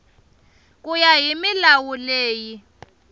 ku ya hi milawu leyi